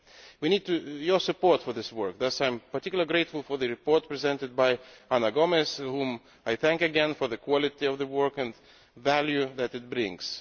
We need your support for this work. Therefore I am particularly grateful for the report presented by Ana Gomes whom I thank again for the quality of the work and the value that it brings.